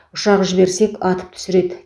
ұшақ жіберсек атып түсіреді